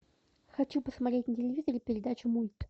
хочу посмотреть на телевизоре передачу мульт